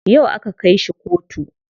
Yau aka kai shi kotu.